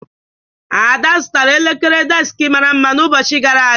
Ada zụtara elekere deskị mara mma n'ụbọchị gara aga.